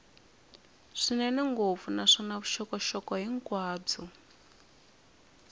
swinene ngopfu naswona vuxokoxoko hinkwabyo